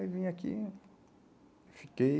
Aí vim aqui, fiquei...